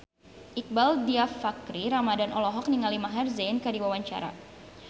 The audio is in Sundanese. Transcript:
Iqbaal Dhiafakhri Ramadhan olohok ningali Maher Zein keur diwawancara